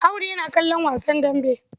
Audu yana kallon wasan dambe.